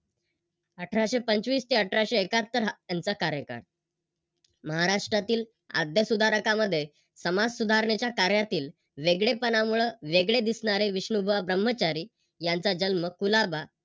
अठराशे पंचवीस ते अठराशे एकाहत्तर हा त्यांचा कार्यकाळ. महाराष्ट्रातील आद्यसुधारकामध्ये समाजसुधारणेच्या कार्यातील वेगळेपणामुळे वेगळे दिसणारे विष्णुबुवा ब्रह्मचारी यांचा जन्म कुलाबा